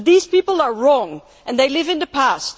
But these people are wrong and they live in the past.